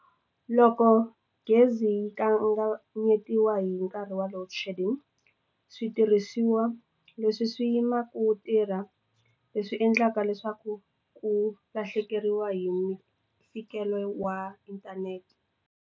Loko gezi yi kanganyetiwa hi nkarhi wa loadshedding switirhisiwa leswi swi yimaku tirha leswi endlaka leswaku ku lahlekeriwa hi ntikelo wa inthanete.